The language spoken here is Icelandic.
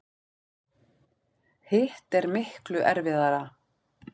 Hitt er miklu erfiðara.